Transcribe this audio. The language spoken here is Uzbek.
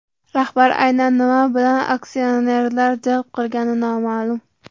Rahbar aynan nima bilan aksionerlarni jalb qilgani noma’lum.